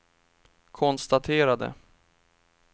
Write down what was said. konstaterade